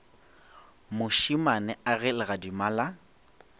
mošemane a ge legadima la